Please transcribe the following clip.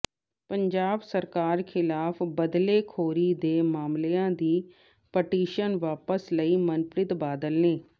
ਪੰਜਾਬ ਸਰਕਾਰ ਖਿਲਾਫ਼ ਬਦਲੇਖੋਰੀ ਦੇ ਮਾਮਲਿਆਂ ਦੀ ਪਟੀਸ਼ਨ ਵਾਪਸ ਲਈ ਮਨਪ੍ਰੀਤ ਬਾਦਲ ਨੇ